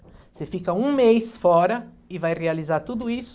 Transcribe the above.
Você fica um mês fora e vai realizar tudo isso.